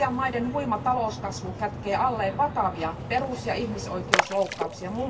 Aasian maiden huima talouskasvu kätkee alleen vakavia perus ja ihmisoikeusloukkauksia.